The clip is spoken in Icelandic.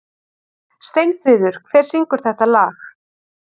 Steinfríður, hver syngur þetta lag?